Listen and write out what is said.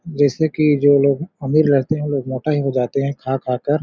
जैसे की जो लोग अमीर रहते है वो मोटा ही हो जाते है खा-खा कर --